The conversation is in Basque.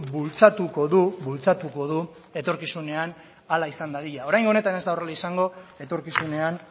bultzatuko du bultzatuko du etorkizunean hala izan dadila oraingo honetan ez da horrela izango etorkizunean